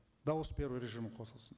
дауыс беру режимі қосылсын